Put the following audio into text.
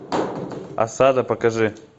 осада покажи